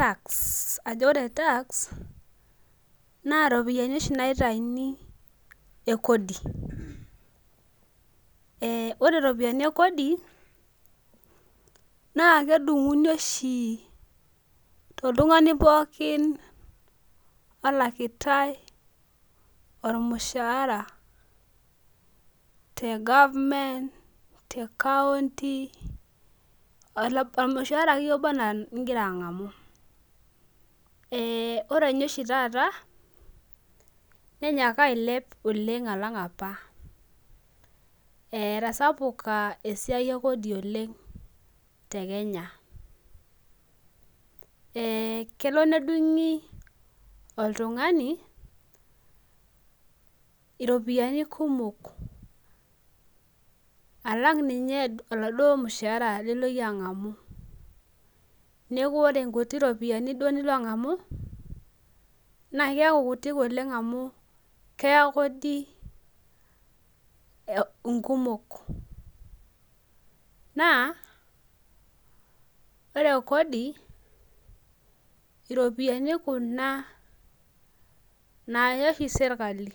tax ajo ore tax naa iropiyiani oshi naaitayuni ekodi, aa ore iropiyiani ekodi naa kedung'uni oshi toltung'ani pooki olakitae olmushahara te government, te kounti, olmushara akeyie oba enaa oligira ang'amu, ore oshi ninye taata nenyaka ailep alang' apa , etasapuka esiai ekodi oleng' tekenya, kelo nedung'i oltung'ani iropiyiani kumok alang' lininye olmushaara lilo iyie ang'amu, neeku ore inkuti ropiyiani duo nilo ang'amu naa keeku kutik oleng amu kedung'u kodi inkumok, naa ore kodi naa iropiyiani kuna naya oshi serikali.